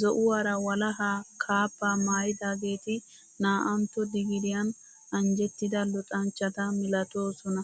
Zo'uwaara walaha kaabbaa maayidaageeti naa'antto digiriyan anjjettida luxanchchata milatoosona.